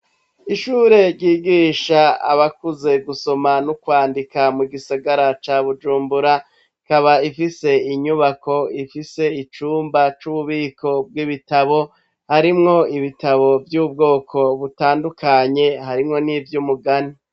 Ishure ryigisha abakuze gusoma no kwandika mu gisagara ca Bujumbura, ikaba ifise inyubako ifise icumba c'ububiko bw'ibitabo harimwo vy'ubwoko butandukanye harimwo n'ivy'umugani.